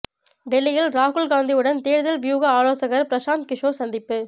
டெல்லியில் ராகுல் காந்தியுடன் தேர்தல் வியூக ஆலோசகர் பிரசாந்த் கிஷோர் சந்திப்பு